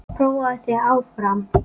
Prófaðu þig áfram!